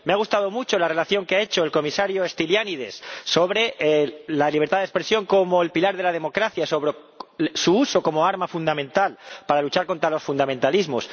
Me ha gustado mucho la relación que ha hecho el comisario Stylianides sobre la libertad de expresión como el pilar de la democracia, sobre su uso como arma fundamental para luchar contra los fundamentalismos.